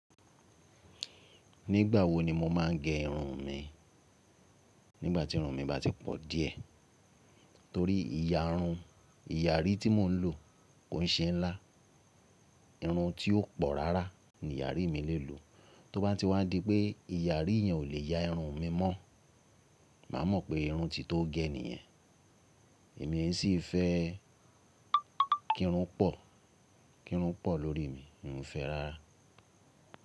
Nígbà wo ni mo máa ń gé irun mi? Nígbà tí irun mi bá ti pọ̀ díẹ̀ torí ìyà arí tí mò ń lò kò ṣe ńlá. Irun tí ò pọ̀ rárá ni ìyàrí mi lè lò. Tó bá ti wá n di pé ìyàrí yẹn ò lè ya irun mi mọ́, màá mọ̀ pé irun ti tó gé ènìyàn. Èmi sì fẹ́ kí irun pọ̀, kí irun pọ̀ lórí mi. Mi ò fẹ́ rárá.